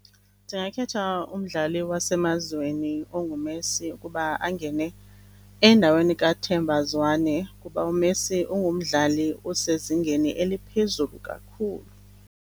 Ndingakhetha umdlali wasemazweni onguMessi ukuba angene endaweni kaThemba Zwane ngoba uMessi ungumdlali osezingeni eliphezulu kakhulu.